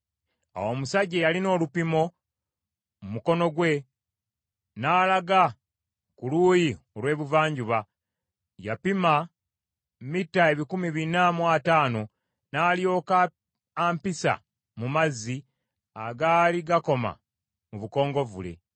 Awo omusajja eyalina olupimo mu mukono gwe, n’alaga ku luuyi olw’ebuvanjuba yapima mita ebikumi bina mu ataano, n’alyoka ampisa mu mazzi, agaali gakoma mu bukongovvule.